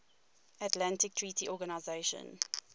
atlantic treaty organisation